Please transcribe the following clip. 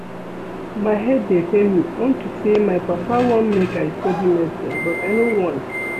My head dey pain me unto say my papa wan make I study medicine but I no want